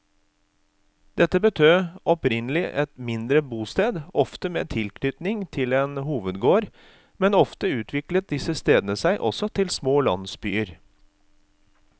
Dette betød opprinnelig et mindre bosted, ofte med tilknytning til en hovedgård, men ofte utviklet disse stedene seg også til små landsbyer.